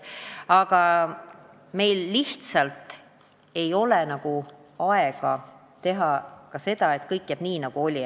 Aga meil lihtsalt ei ole aega, et kõik saaks jääda nii, nagu oli.